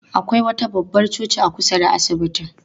Akwai wata babbar coci a kusa da asibitin.